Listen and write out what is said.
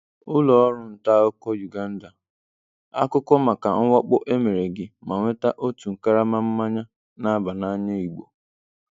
Ụlọọrụ ntaakụkọ Uganda:Akụkọ maka mwakpo emere gị ma nweta otu karama mmanya n'aba na-anya igbo